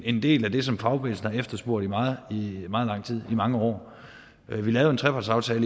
en del af det som fagbevægelsen har efterspurgt i mange år vi lavede en trepartsaftale